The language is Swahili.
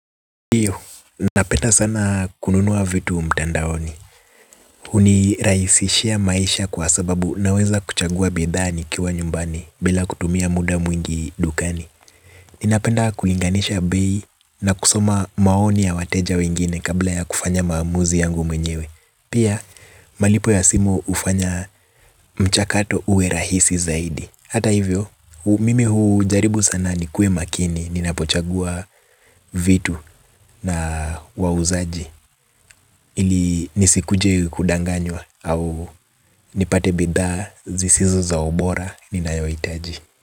Ndiyo, napenda sana kununua vitu mtandaoni. Hunirahisishia maisha kwa sababu naweza kuchagua bidhaa nikiwa nyumbani bila kutumia muda mwingi dukani. Ninapenda kulinganisha bei na kusoma maoni ya wateja wengine kabla ya kufanya maamuzi yangu mwenyewe. Pia, malipo ya simu hufanya mchakato uwe rahisi zaidi. Hata hivyo, mimi hujaribu sana nikuwe makini, ninapochagua vitu na wauzaji ili nisikuje kudanganywa au nipate bidhaa zisizo za ubora, ninaohitaji.